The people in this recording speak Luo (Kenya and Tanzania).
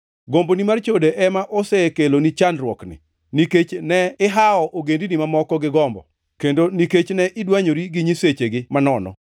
Gomboni mar chode ema osekeloni chandruokni, nikech ne ihawo ogendini mamoko gi gombo, kendo nikech ne idwanyori gi nyisechegi manono.